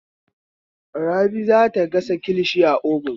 Rabi za ta gasa kilishi a obun.